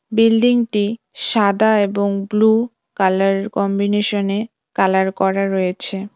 বিল্ডিংটি সাদা এবং ব্লু কালার কম্বিনেশনে কালার করা রয়েছে।